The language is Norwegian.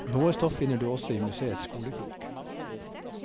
Noe stoff finner du også i museets skolekrok.